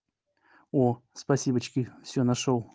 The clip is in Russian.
о спасибочки все нашёл